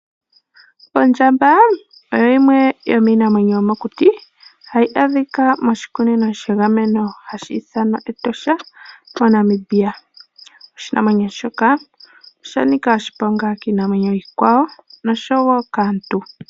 Ondjamba oyo yimwe yomiinamwenyo yomokuti hayi adhika moshikunino shagameno hashi ithanwa Etosha shaNamibia. Oshinamwenyo shoka osha nika oshiponga kiinamwenyo iikwawo nosho wo kaantu.